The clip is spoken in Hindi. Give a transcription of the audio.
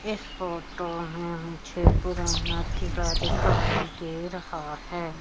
इस फोटो में मुझे पुराना किला दिखाई दे रहा है।